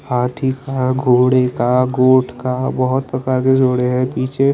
हाथी का घोड़ी का गोट का बहुत प्रकार से चल रही है पीछे--